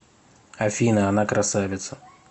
афина она красавица